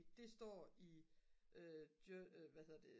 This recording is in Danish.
det står i hvad hedder det